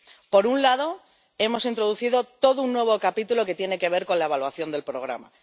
Por un lado, hemos introducido todo un nuevo capítulo que tiene que ver con la evaluación del programa